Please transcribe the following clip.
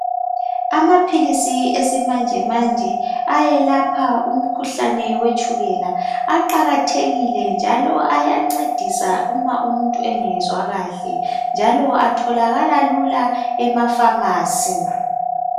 Amaphilisi esimanjemanje ayelapha umkhuhlane wetshukela aqakathekile njalo ayancedisa uma umuntu engezwa kahle, atholakala lula emafamasi.